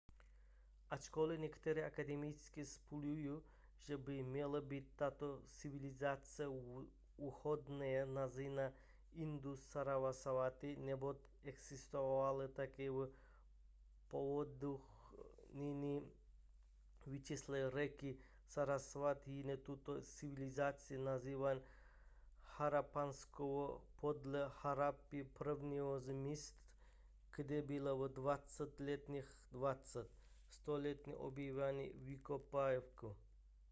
ačkoli někteří akademici spekulují že by měla být tato civilizace vhodně nazývána indus-sarasvati neboť existovala také v povodích nyní vyschlé řeky sarasvati jiní tuto civilizaci nazývají harappanskou podle harappy prvního z míst kde byly ve 20. letech 20. století objeveny vykopávky